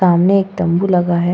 सामने एक तंबू लगा है।